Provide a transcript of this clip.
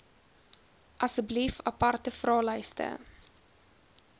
asseblief aparte vraelyste